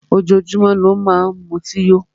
Ojoójúmọ́ ni ó má n mutí yó.